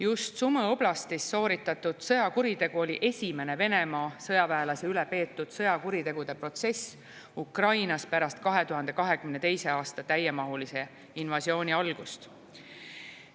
Just Sumõ oblastis sooritatud sõjakuriteo oli esimene Venemaa sõjaväelase üle peetud sõjakuritegude protsess Ukrainas pärast 2022. aasta täiemahulise invasiooni algust.